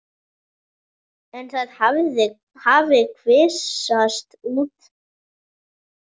En það hafi kvisast út.